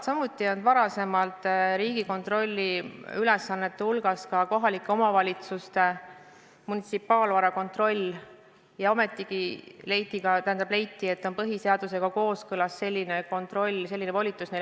Samuti ei olnud varasemalt Riigikontrolli ülesannete hulgas kohalike omavalitsuste munitsipaalvara kontroll, aga ometigi leiti, et on põhiseadusega kooskõlas, kui neile selline kontroll, selline volitus anda.